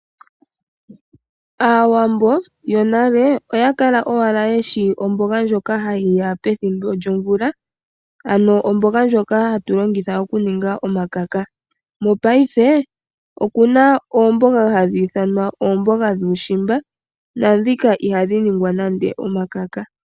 Aawambo yonale oya kala owala yeshi omboga ndjoka hayi ya pethimbo lyomvula, ano omboga ndjoka hatu longitha okuninga omakaka. Mopaife oku na oomboga hadhi ithanwa oomboga dhuushimba na dhika ihadhi ningwa nande omakaka.